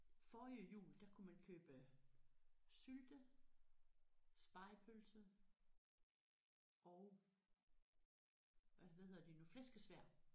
Forrige jul der kunne man købe sylte spegepølse og øh hvad hedder det nu flæskesværd